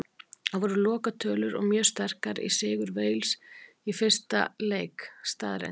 Það voru lokatölur og mjög sterkur sigur Wales í fyrsta leik staðreynd.